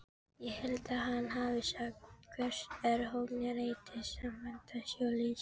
Ég held að hann hafi sagt: Verst er horngrýtis fantasíuleysið.